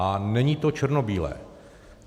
A není to černobílé.